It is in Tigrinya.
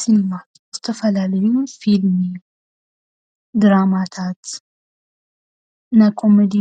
ስኒማ ዝተፈላለዩ ፊልሚ፣ ድራማታት፣ ናይ ኮሜዲ